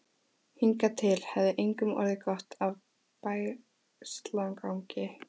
Hingað til hafði engum orðið gott af bægslagangi.